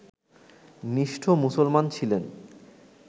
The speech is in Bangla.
নিষ্ঠ মুসলমান ছিলেন